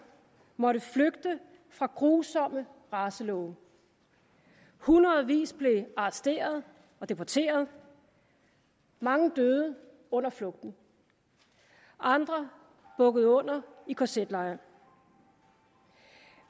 måtte flygte fra grusomme racelove hundredvis blev arresteret og deporteret mange døde under flugten andre bukkede under i kz lejre